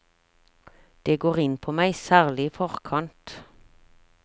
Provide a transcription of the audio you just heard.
Det går inn på meg, særlig i forkant.